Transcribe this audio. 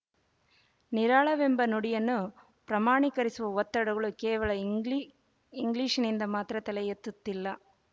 ನಿರಾಳವೆಂಬ ನುಡಿಯನ್ನು ಪ್ರಮಾಣೀಕರಿಸುವ ಒತ್ತಡಗಳು ಕೇವಲ ಇಂಗ್ಲಿ ಇಂಗ್ಲಿಶಿನಿಂದ ಮಾತ್ರ ತಲೆಯೆತ್ತಲಿಲ್ಲ